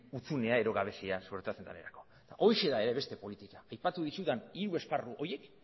hutsunea edo gabezia suertatzen denerako horixe da beste politika aipatu dizudan hiru esparru horiek